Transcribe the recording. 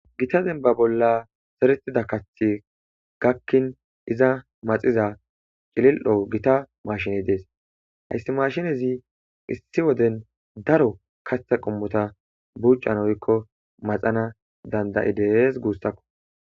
gita denba bolla seretida kathi gakkin iza maxiza cilil7o gita mashine dees hayssi mashinezi issi woden daro katha qommota buuccan oykko maxana dandayi dees guussakko